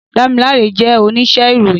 Damilare jè óníṣè iróyin